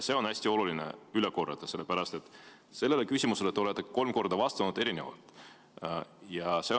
On hästi oluline see üle korrata, sellepärast et sellele küsimusele te olete kolm korda erinevalt vastanud.